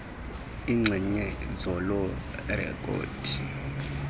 iinxenye zaloo rekhodi